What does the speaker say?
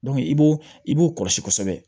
i b'o i b'o kɔlɔsi kosɛbɛ